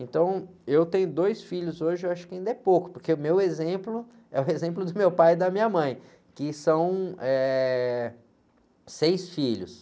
Então eu tenho dois filhos hoje, eu acho que ainda é pouco, porque o meu exemplo é o exemplo do meu pai e da minha mãe, que são, eh, seis filhos.